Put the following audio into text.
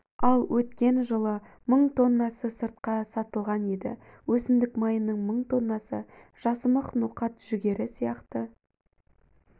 ал өткен жылы мың тоннасы сыртқа сатылған еді өсімдік майының мың тоннасы жасымық ноқат жүгері сияқты